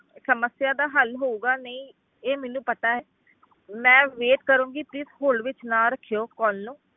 ਸਮੱਸਿਆ ਦਾ ਹੱਲ ਹੋਊਗਾ ਨਹੀਂ, ਇਹ ਮੈਨੂੰ ਪਤਾ ਹੈ ਮੈਂ wait ਕਰਾਂਗੀ please hold ਵਿੱਚ ਨਾ ਰੱਖਿਓ call ਨੂੰ।